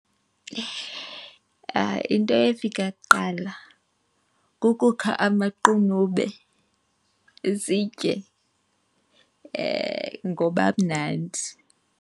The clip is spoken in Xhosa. Into efika kuqala kukukha amaqunube sitye ngoba amnandi.